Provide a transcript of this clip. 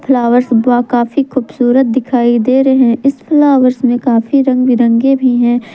Flowers बा काफी खूबसूरत दिखाई दे रहे हैं इस फ्लावर्स में काफी रंग बिरंगे भी हैं।